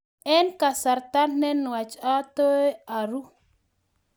eng kasarta ne nuach ataoy aruu